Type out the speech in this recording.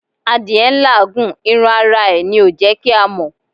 Adìyẹ́ ń làágùn, irún ará é ní o jẹ kí a mọ